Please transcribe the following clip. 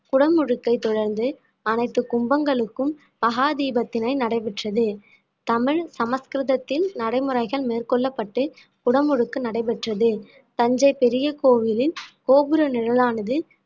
குடமுழுக்கை தொடர்ந்து அனைத்து கும்பங்களுக்கும் மகா தீபத்தினை நடைபெற்றது தமிழ் சமஸ்கிருதத்தில் நடைமுறைகள் மேற்கொள்ளப்பட்டு குடமுழுக்கு நடைபெற்றது தஞ்சை பெரிய கோவிலில் கோபுர நிழலானது